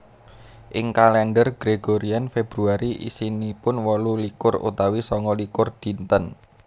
Ing kalèndher Gregorian Februari isinipun wolu likur utawi sanga likur dinten